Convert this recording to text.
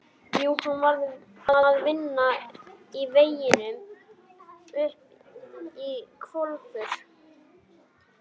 Jú, hann var að vinna í veginum upp í Hvalfjörð.